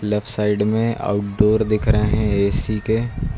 Left side में outdoor दिख रहे हैं ऐ_सी के।